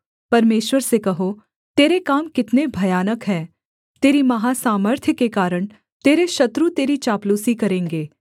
परमेश्वर से कहो तेरे काम कितने भयानक हैं तेरी महासामर्थ्य के कारण तेरे शत्रु तेरी चापलूसी करेंगे